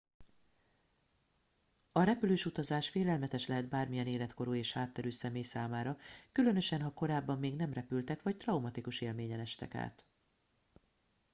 a repülős utazás félelmetes lehet bármilyen életkorú és hátterű személy számára különösen ha korábban még nem repültek vagy traumatikus élményen estek át